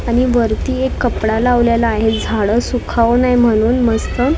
आणि वरती एक कपडा लावलेला आहे झाडं सुकावू नये म्हणून मस्त तुब